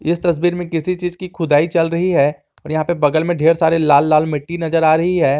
इस तस्वीर में किसी चीज की खुदाई चल रही है और यहां पे बगल में ढेर सारे लाल लाल मिट्टी नजर आ रही है।